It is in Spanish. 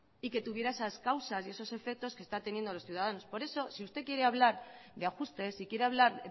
y que tuviera esas causas y esos efectos que están teniendo los ciudadanos por eso si usted quiere hablar de ajustes si quiere hablar